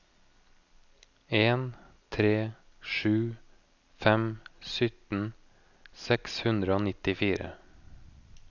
en tre sju fem sytten seks hundre og nittifire